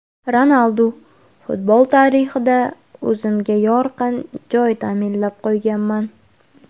Ronaldu: Futbol tarixida o‘zimga yorqin joy ta’minlab qo‘yganman.